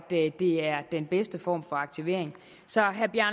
det er den bedste form for aktivering så